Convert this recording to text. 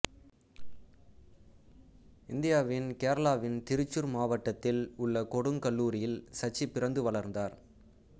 இந்தியாவின் கேரளாவின் திருச்சூர் மாவட்டத்தில் உள்ள கொடுங்கல்லூரில் சச்சி பிறந்து வளர்ந்தார்